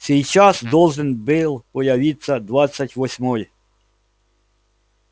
сейчас должен был появиться двадцать восьмой